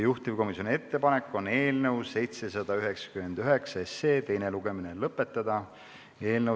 Juhtivkomisjoni ettepanek on eelnõu 799 teine lugemine lõpetada.